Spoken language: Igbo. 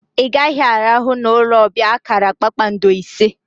I gaghi arahu na olu obia akara kpakpando ise!